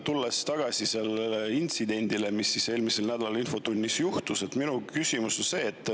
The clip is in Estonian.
Tulles tagasi selle intsidendi juurde, mis eelmisel nädalal infotunnis juhtus, on minu küsimus selline.